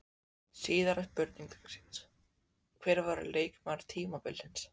Síðari spurning dagsins: Hver verður leikmaður tímabilsins?